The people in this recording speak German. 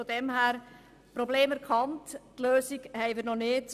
So gesehen: Problem erkannt, die Lösung haben wir noch nicht.